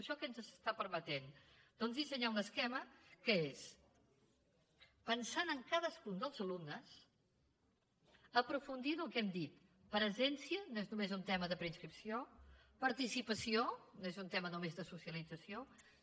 això què ens està permetent doncs dissenyar un esquema que és pensant en cadascun dels alumnes aprofundir en el que hem dit presència no és només un tema de preinscripció participació no és un tema només de socialització